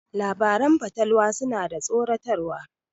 Labaran fatalwa suna da tsoratarwa.